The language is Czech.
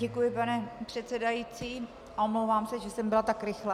Děkuji, pane předsedající, a omlouvám se, že jsem byla tak rychlá.